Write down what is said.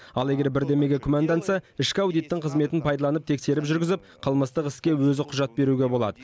ал егер бірдемеге күмәнданса ішкі аудиттің қызметін пайдаланып тексеріс жүргізіп қылмыстық іске өзі құжат беруге болады